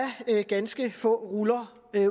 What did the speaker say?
ganske få ruller